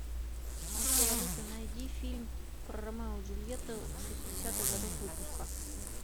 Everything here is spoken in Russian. окей алиса найди фильм про ромео и джульетту шестидесятых годов выпуска